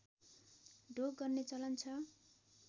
ढोग गर्ने चलन छ